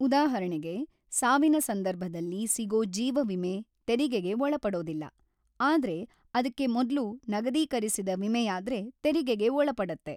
ಉದಾಹರಣೆಗೆ, ಸಾವಿನ ಸಂದರ್ಭದಲ್ಲಿ ಸಿಗೋ ಜೀವ ವಿಮೆ ತೆರಿಗೆಗೆ ಒಳಪಡೋದಿಲ್ಲ, ಆದ್ರೆ ಅದ್ಕೆ ಮೊದ್ಲು ನಗದೀಕರಿಸಿದ ವಿಮೆಯಾದ್ರೆ ತೆರಿಗೆಗೆ ಒಳಪಡತ್ತೆ.